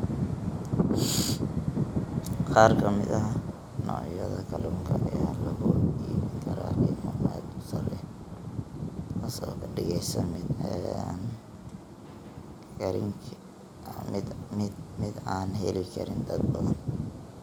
Qaar ka mid ah noocyada kalluunka ayaa lagu iibin karaa qiimo aad u sarreeya, taas oo ka dhigaysa mid aan heli karin dad badan.